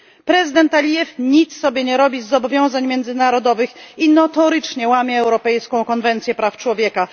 Prezydent Alijew nic sobie nie robi z zobowiązań międzynarodowych i notorycznie łamie Europejską konwencję praw człowieka.